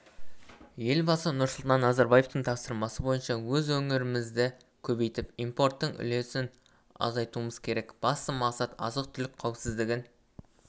елбасы нұрсұлтан назарбаевтың тапсырмасы бойынша өз өнімдерімізді көбейтіп импорттың үлесін азайтуымыз керек басты мақсат азық-түлік қауіпсіздігін